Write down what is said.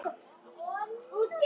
Inga Dóra og Jón.